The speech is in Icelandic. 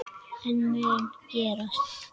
En það mun gerast.